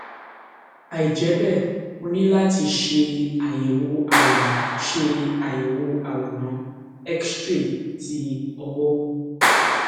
àìjẹ bẹẹ o ní láti ṣe àyẹwò àwòrán ṣe àyẹwò àwòrán xray ti ọwọ